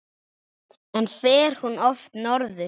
En fer hún oft norður?